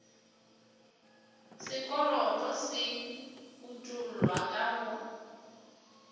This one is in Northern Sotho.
sekoloto se utollwa ka go